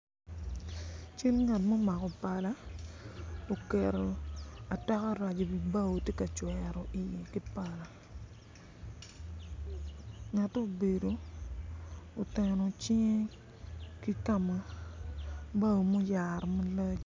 Cal ngat ma omako pala oketo ataka rac tye ka cwero ki pala ngate obedo oteno cinge ki ka ma oyaro ki bao malac.